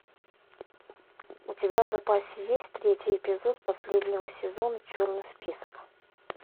у тебя в запасе есть третий эпизод последнего сезона черный список